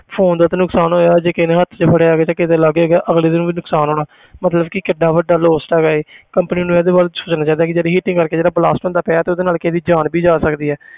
Phone ਦਾ ਤਾਂ ਨੁਕਸਾਨ ਹੋਇਆ ਜੇ ਕਿਸੇ ਨੇ ਹੱਥ 'ਚ ਫੜਿਆ ਹੋਏਗਾ ਤਾਂ ਕਿਸੇ ਦੇ ਲਾਗੇ ਗਾ ਅਗਲੇ ਨੂੰ ਵੀ ਨੁਕਸਾਨ ਹੋਣਾ ਮਤਲਬ ਕਿ ਕਿੱਡਾ ਵੱਡਾ lost ਹੈਗਾ ਹੈ company ਨੂੰ ਇਹਦੇ ਬਾਰੇ ਸੋਚਣਾ ਚਾਹੀਦਾ ਕਿ ਜਿਹੜੀ heating ਕਰਕੇ ਜਿਹੜਾ blast ਹੁੰਦਾ ਪਿਆ ਤੇ ਉਹਦੇ ਨਾਲ ਕਿਸੇ ਦੀ ਜਾਨ ਵੀ ਜਾ ਸਕਦੀ ਹੈ।